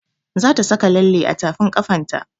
Za ta saka lalle a tafin ƙafan ta